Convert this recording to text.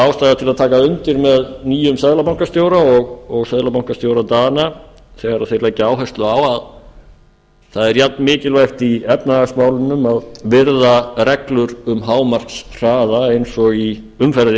ástæða til að taka undir með nýjum seðlabankastjóra og seðlabankastjóra dana þegar þeir leggja áherslu á að það er jafnmikilvægt í efnahagsmálunum að virða reglur um hámarkshraða eins og í umferðinni og